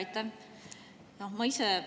Aitäh!